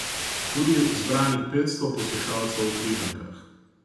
Tudi zbranih petsto poslušalcev v Križankah.